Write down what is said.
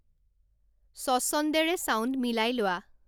স্বচ্ছন্দেৰে sound মিলাই লোৱা